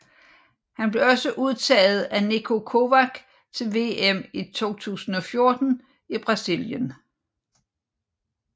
Han blev også udtaget af Niko Kovac til VM i 2014 i Brasilien